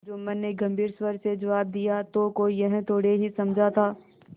जुम्मन ने गम्भीर स्वर से जवाब दियातो कोई यह थोड़े ही समझा था